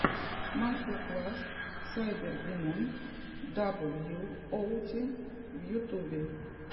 мастер класс сайбердимон даблюоути в ютубе